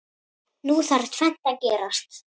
Nú þarf tvennt að gerast.